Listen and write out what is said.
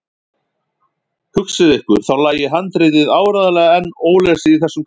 Hugsið ykkur, þá lægi handritið áreiðanlega enn ólesið í þessum kassa!